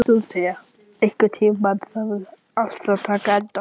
Dórótea, einhvern tímann þarf allt að taka enda.